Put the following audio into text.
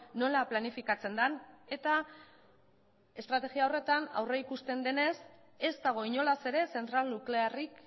nola planifikatzen den eta estrategia horretan aurrikusten denez ez dago inolaz ere zentral nuklearrik